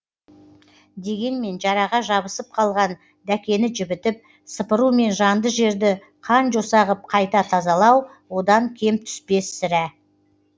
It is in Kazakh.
дегенмен жараға жабысып қалған дәкені жібітіп сыпыру мен жанды жерді қан жоса ғып қайта тазалау одан кем түспес сірә